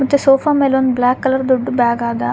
ಮತ್ತೆ ಸೋಫಾ ಮೇಲ್ ಒಂದ್ ಬ್ಲಾಕ್ ಕಲರ್ ದೊಡ್ಡ್ ಬ್ಯಾಗ್ ಆದ --